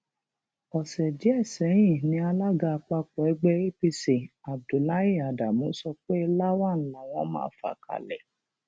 ọsẹ díẹ sẹyìn ni alága àpapọ ẹgbẹ apc abdullahi adamu sọ pé lawan làwọn máa fà kalẹ